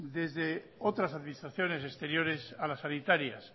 desde otras administraciones exteriores a las sanitarias